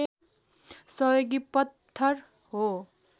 सहयोगी पत्थर हो